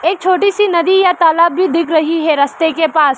छोटी सी नदी या तालाब भी दिख रही है रस्ते के पास।